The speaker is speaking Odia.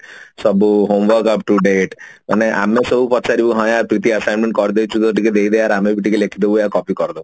ସବୁ homework up-to-date ମାନେ ଆମେ ସବୁ ପଚାରିବୁ ହଁ ୟାର ପ୍ରୀତି assignment କରି ଦେଇଛୁ ଯଦି ଟିକେ ଦେଇଦେ ୟାର ଆମେ ବି ଟିକେ ଲେଖିଦବୁ ଆଉ copy କରିଦବୁ